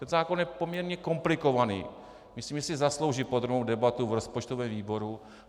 Ten zákon je poměrně komplikovaný, myslím, že si zaslouží podrobnou debatu v rozpočtovém výboru.